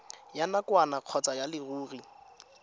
ya nakwana kgotsa ya leruri